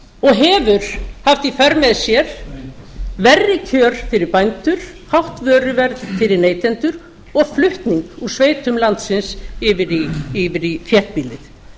og hefur haft í för með sér verri kjör fyrir bændur hátt vöruverð fyrir neytendur og flutning úr sveitum landsins yfir í þéttbýlið